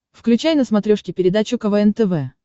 включай на смотрешке передачу квн тв